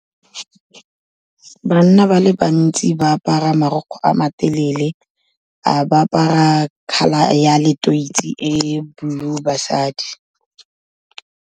Banna ba le bantsi ba apara marukgwe a matelele, ba apara colour ya leteisi e blue, basadi.